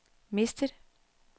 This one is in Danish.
mistet